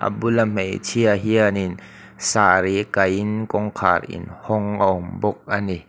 bula hmeichhia hianin sari kai in kawngkhar in hawng a awm bawk a ni.